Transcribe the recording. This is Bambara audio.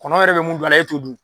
Kɔnɔ yɛrɛ bɛ mun dun a la e t'o dun